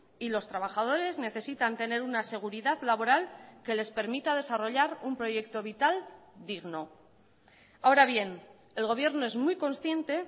y los trabajadores necesitan tener una seguridad laboral que les permita desarrollar un proyecto vital digno ahora bien el gobierno es muy consciente